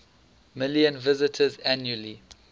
million visitors annually